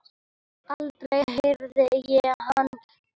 Aldrei heyrði ég hann kvarta.